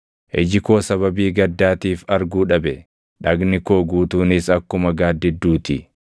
Iji koo sababii gaddaatiif arguu dhabe; dhagni koo guutuunis akkuma gaaddidduu ti.